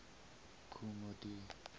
kool moe dee